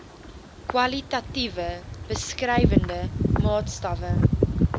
kwalitatiewe beskrywende maatstawwe